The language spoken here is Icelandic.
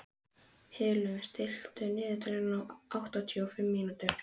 Hlynur, stilltu niðurteljara á áttatíu og fimm mínútur.